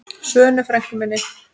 Svönu frænku minni.